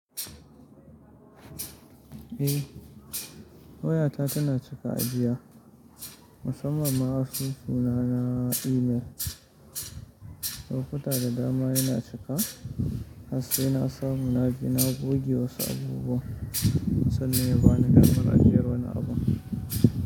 Eh waya ta tana cika ajiya, musamman asusu na, na email. Lokuta da dama yana cika, harse na samu naje na goge wasu abubuwa sannan ya bani damar ajiyar wani abu.